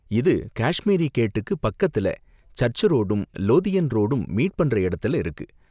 இது காஷ்மீரி கேட்டுக்கு பக்கத்துல, சர்ச்சு ரோடும், லோதியன் ரோடும் மீட் பண்ற இடத்துல இருக்கு.